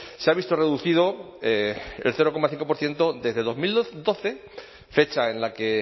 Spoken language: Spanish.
se ha visto reducido el cero coma cinco por ciento desde dos mil doce fecha en la que